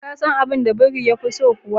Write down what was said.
ka san abun da biri yafi so kuwa?